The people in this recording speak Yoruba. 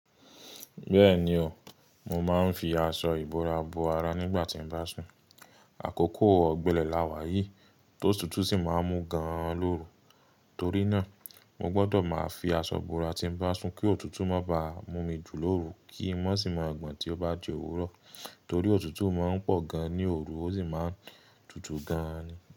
Bẹ́ẹ̀ni o, mo máa ń fi aṣọ ìbora bo ara nígbà tí mo bá sùn. Àkókò ọ̀gbẹlẹ̀ la wà yìí, tótùtù sì máa ń mú gan-an lóru. Torí náà, mo gbọ́dọ̀ máa fi aṣọ ìbora tí bá sùn kí òtútù má bá mú mi jù lóru kí i má sì má gbọ̀n tí ó bá di òwúrọ̀. Torí òtútù má ń pọ̀ gan ní òru, ó sì má ń tutù gan-an ni.